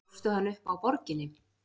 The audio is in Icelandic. Grófstu hann upp á Borginni?